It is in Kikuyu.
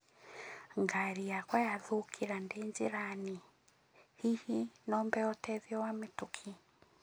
Ngari yakwa yathũkĩra ndĩ njĩra-inĩ, hihi no hee ũteithio wa mĩtũkĩ